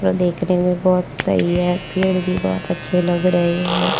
प देखने में बहोत सही है पेड़ भी बहोत अच्छे लग रहे है।